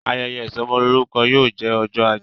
Ayẹyẹ isomolorukọ yóò jẹ ọjọ ajé